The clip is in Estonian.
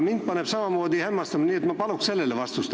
Nii et ma palun sellele vastust.